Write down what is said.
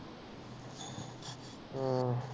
ਹਮ